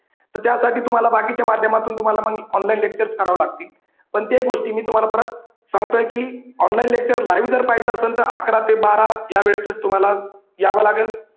तर त्यासाठी तुम्हाला बाकीच्या माध्यमातून तुम्हाला मग online lectures कराव लागतील. पण त्या गोष्टी मी तुम्हाला परत सांगतोय की online lecture live जर पाहायचं असेल तर अकरा ते बारा या वेळेतचं तुम्हाला याव लागल.